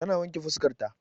Ta na wanke fuskar ta